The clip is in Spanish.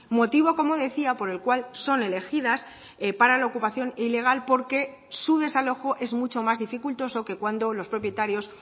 motivo como decía por el cual son elegidas para la ocupación ilegal porque su desalojo es mucho más dificultoso que cuando los propietarios